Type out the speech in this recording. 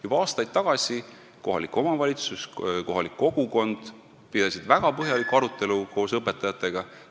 Juba aastaid tagasi pidasid kohalik omavalitsus ja kohalik kogukond väga põhjalikku arutelu koos õpetajatega.